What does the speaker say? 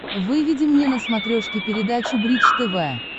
выведи мне на смотрешке передачу бридж тв